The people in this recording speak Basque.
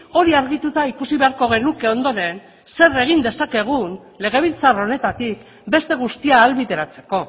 hori argituta ikusi beharko genuke ondoren zer egin dezakegun legebiltzar honetatik beste guztia ahalbideratzeko